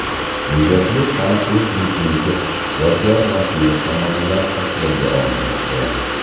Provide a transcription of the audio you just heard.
Videoklip taniqli klipmeyker Yodgor Nosirov tomonidan tasvirga olinmoqda.